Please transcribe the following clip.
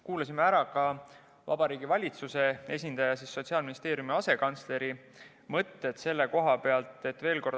Kuulasime ära ka Vabariigi Valitsuse esindaja ja Sotsiaalministeeriumi asekantsleri mõtted.